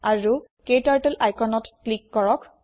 আৰু ক্টাৰ্টল আইকনত ক্লিক কৰক